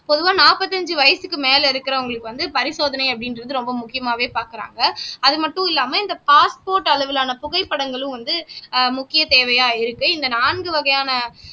பொதுவா நாற்பத்தி அஞ்சு வயசுக்கு மேல இருக்கிறவங்களுக்கு வந்து பரிசோதனை அப்படின்றது ரொம்ப முக்கியமாவே பார்க்கிறாங்க அது மட்டும் இல்லாமல் இந்த பாஸ்போர்ட் அளவிலான புகைப்படங்களும் வந்து ஆஹ் முக்கிய தேவையா இருக்கு இந்த நான்கு வகையான